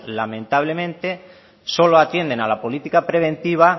lamentablemente solo atienden a la política preventiva